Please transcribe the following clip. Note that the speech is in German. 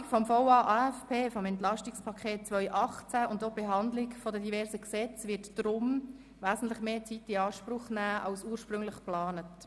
Die Beratungen des Voranschlags und des Aufgaben-/ Finanzplans (VA/AFP) sowie der verschiedenen Gesetze werden deshalb wesentlich mehr Zeit in Anspruch nehmen, als ursprünglich geplant.